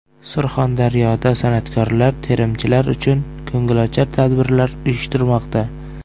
Surxondaryoda san’atkorlar terimchilar uchun ko‘ngilochar tadbirlar uyushtirmoqda.